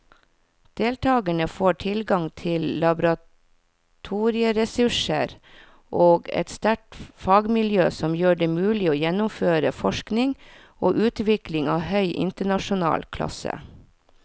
Deltakerne får tilgang til laboratorieressurser og et sterkt fagmiljø som gjør det mulig å gjennomføre forskning og utvikling av høy internasjonal klasse.